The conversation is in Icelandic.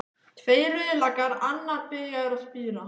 Tveir rauðlaukar, annar byrjaður að spíra.